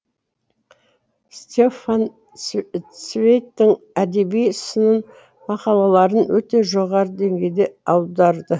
стефан цвейгтің әдеби сын мақалаларын өте жоғарғы деңгейде аударды